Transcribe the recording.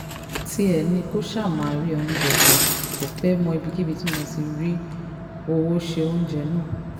tiẹ̀ ni kó ṣáà ti máa rí oúnjẹ jẹ kó fẹ́ẹ̀ mọ ibikíbi tí mo mo ti rówó se oúnjẹ náà